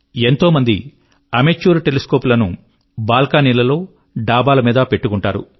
ఎంతోమంది amateur telescope లను బాల్కనీలలో డాబాల మీద పెట్టుకుంటారు